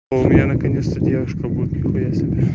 у меня наконец-то девушка будет нихуясе